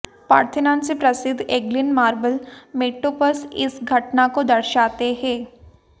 Parthenon से प्रसिद्ध Elgin marble metopes इस घटना को दर्शाते हैं